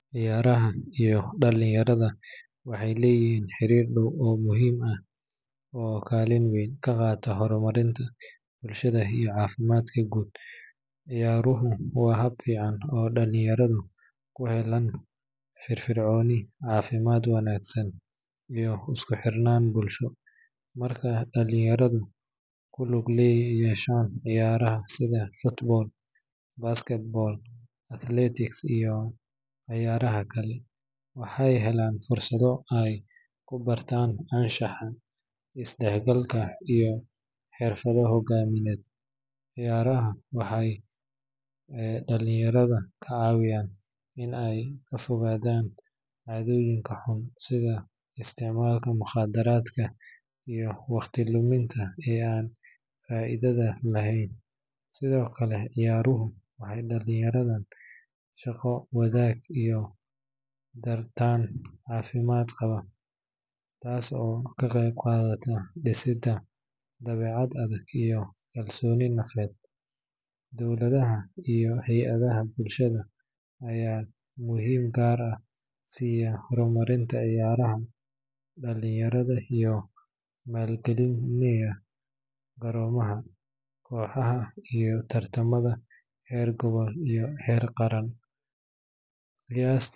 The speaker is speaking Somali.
Ciyaaraha iyo dhalinyarada waxay leeyihiin xiriir dhow oo muhiim ah oo kaalin weyn ka qaata horumarinta bulshada iyo caafimaadka guud. Ciyaaruhu waa hab fiican oo dhalinyaradu ku helaan firfircooni, caafimaad wanaagsan, iyo isku xirnaan bulsho. Marka dhalinyaradu ku lug yeeshaan ciyaaraha sida football, basketball, athletics, iyo cayaaraha kale, waxay helaan fursado ay ku bartaan anshax, is-dhexgal, iyo xirfado hoggaamineed. Ciyaaraha waxay dhalinyarada ka caawiyaan in ay ka fogaadaan caadooyinka xun sida isticmaalka mukhaadaraadka iyo waqtiga luminta ee aan faa’iidada lahayn. Sidoo kale, ciyaaruhu waxay dhiirrigeliyaan shaqo wadaag iyo tartan caafimaad qaba, taas oo ka qayb qaadata dhisida dabeecad adag iyo kalsooni nafsadeed. Dowladaha iyo hay’adaha bulshada ayaa muhiimad gaar ah siiya horumarinta ciyaaraha dhalinyarada iyagoo maalgelinaya garoomada, kooxaha, iyo tartamada heer gobol iyo heer qaran. Qiyaastii.